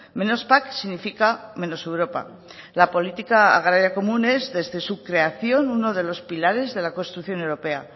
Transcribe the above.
menos pac significa menos europa la política agraria común es desde su creación uno de los pilares de la construcción europea